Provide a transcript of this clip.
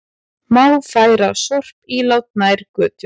Má færa sorpílát nær götu